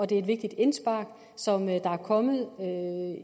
det er et vigtigt indspark som er kommet